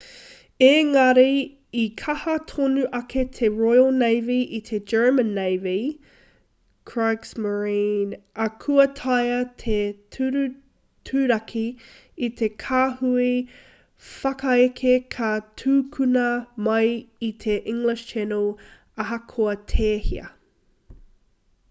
engari i kaha tonu ake te royal navy i te german navy kriegsmarine ā kua taea te turaturaki i te kāhui whakaeke ka tukuna mai i te english channel ahakoa tēhea